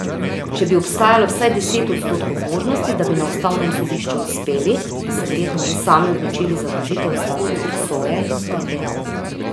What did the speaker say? Če bi obstajalo vsaj deset odstotkov možnosti, da bi na ustavnem sodišču uspeli, bi se verjetno že sami odločili za vložitev ustavne presoje, je dejal.